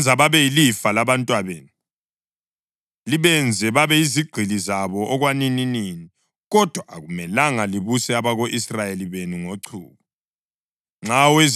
Lingabenza babe yilifa labantwabenu, libenze babe yizigqili zabo okwanininini, kodwa akumelanga libuse abako-Israyeli benu ngochuku.